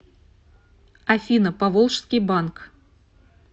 афина поволжский банк